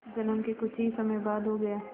जन्म के कुछ ही समय बाद हो गया